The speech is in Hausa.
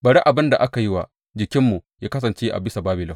Bari abin da aka yi wa jikinmu yă kasance a bisa Babilon,